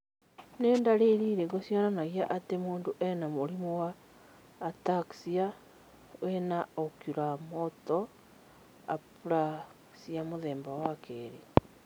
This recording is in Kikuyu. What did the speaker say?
Nĩ ndariri irĩkũ cionanagia atĩ mũndũ arĩ na mũrimũ wa Ataxia with Oculomotor Apraxia mũthemba wa kerĩ?